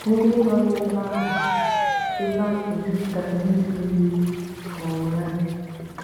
Ndị nọ na ebe ahụ ebe ahụ juputara n’ibu iwe n’ụnyaahụ.